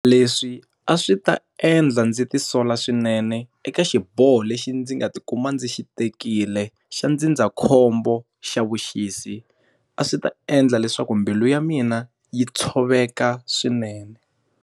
Leswi a swi ta endla ndzi ti sola swinene eka xiboho lexi ndzi nga ti kuma ndzi xi tekile xa ndzindzakhombo xa vuxisi. A swi ta endla leswaku mbilu ya mina yi tshoveka swinene.